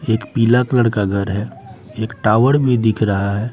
एक पीला कलर का घर है एक टावर भी दिख रहा है।